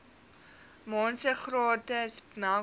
maande gratis melkpoeier